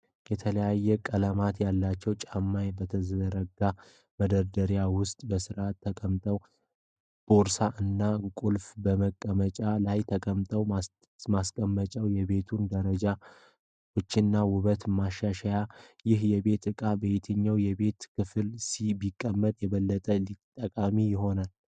የተለያዩ ቀለማት ያላቸው ጫማዎች በተዘረጋው መደርደሪያ ውስጥ በሥርዓት ተቀምጠዋል፤ ቦርሳ እና ቁልፎች በመቀመጫው ላይ ተቀምጠዋል። ማስቀመጫው የቤቱን አደረጃጀትና ውበት ያሻሽላል። ይህ የቤት እቃ በየትኛው የቤቱ ክፍል ቢቀመጥ የበለጠ ጠቃሚ ይሆናል?